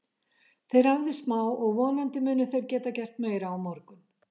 Þeir æfðu smá og vonandi munu þeir geta gert meira á morgun.